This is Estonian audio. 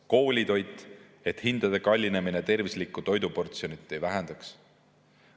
Koolitoit: hindade kallinemine ei tohi tervislikku toiduportsjonit vähendada.